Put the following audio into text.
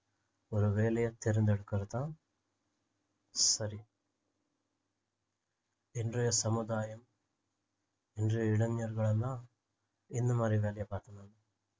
ஒரு வேலையை தேர்ந்து எடுக்குறதுதான் சரி இன்றைய சமுதாயம் இன்றைய இளைஞர்கள் எல்லாம் எந்தமாதிரி வேலையை பார்க்குறது